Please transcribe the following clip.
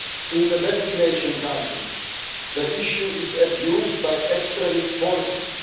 In the destination countries, the issue is abused by extremist forces.